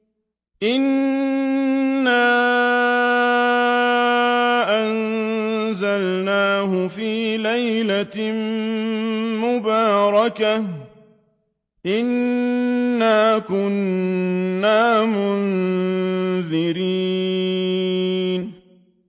إِنَّا أَنزَلْنَاهُ فِي لَيْلَةٍ مُّبَارَكَةٍ ۚ إِنَّا كُنَّا مُنذِرِينَ